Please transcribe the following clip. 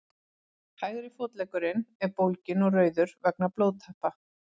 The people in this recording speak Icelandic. hægri fótleggurinn er bólginn og rauður vegna blóðtappa